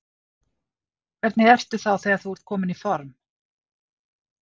Hvernig ertu þá þegar þú ert kominn í form?